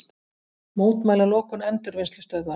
Mótmæla lokun endurvinnslustöðvar